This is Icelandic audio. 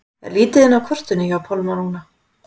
Er lítið inn á kortinu hjá Pálma núna?